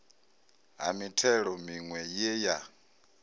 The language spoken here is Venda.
ha mithelo miwe ye ya